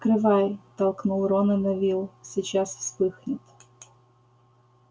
открывай толкнул рона невилл сейчас вспыхнет